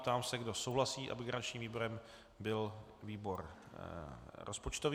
Ptám se, kdo souhlasí, aby garančním výborem byl výbor rozpočtový.